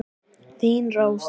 Þín Rósa.